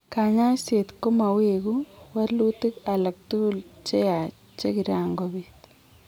Kanyaiset komawegu walutik alagtugul cheyach che kiran kobiit